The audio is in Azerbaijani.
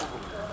Nə oldu?